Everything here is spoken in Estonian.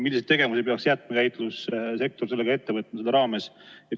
Milliseid tegevusi peaks jäätmekäitlussektor ette võtma sellega seoses?